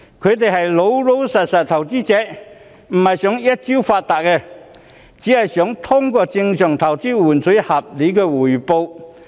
他們是老實的投資者，並非想一朝發達，只是想通過正常投資換取合理的回報。